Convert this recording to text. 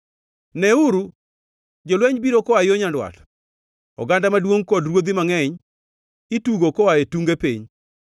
“Neuru! Jolweny biro koa yo nyandwat; oganda maduongʼ kod ruodhi mangʼeny itugo koa e tunge piny.